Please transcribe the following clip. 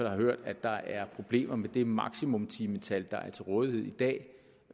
har hørt at der er problemer med det maksimumtimetal der er til rådighed i dag